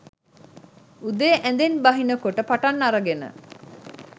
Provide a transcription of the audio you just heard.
උදේ ඇඳෙන් බහින කොට පටන් අරගෙන